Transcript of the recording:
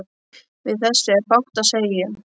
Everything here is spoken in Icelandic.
Við þessu er fátt að segja.